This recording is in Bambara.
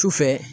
Sufɛ